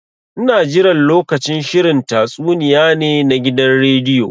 Ina jiran lokacin shirin tatsuniya ne na gidan rediyo.